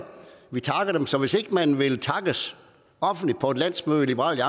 vi takker dem så hvis ikke man vil takkes offentligt på et landsmøde i liberal